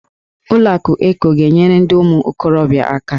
Ụlọ akụ Eko ga-enyere ndị ụmụ okorobịa aka.